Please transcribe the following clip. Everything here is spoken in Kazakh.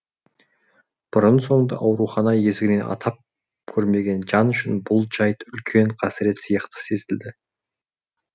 бұрын соңды аурухана есігінен атап көрмеген жан үшін бұл жайт үлкен қасірет сияқты сезілді